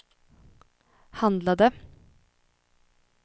handlade